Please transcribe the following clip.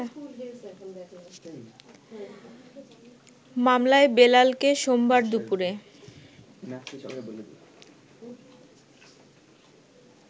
মামলায় বেলালকে সোমবার দুপুরে